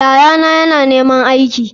Yayana yana neman aiki.